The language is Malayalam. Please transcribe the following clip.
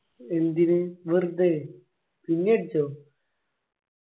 എന്തിനു വെറുതെ നിന്നെ അടിച്ചോ